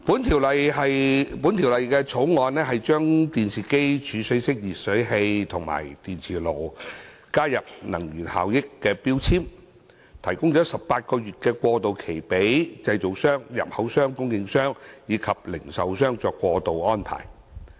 《修訂令》旨在把電視機、儲水式電熱水器及電磁爐加入計劃，並提供18個月過渡期，讓製造商、入口商、供應商及零售商作出過渡安排。